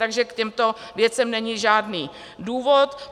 Takže k těmto věcem není žádný důvod.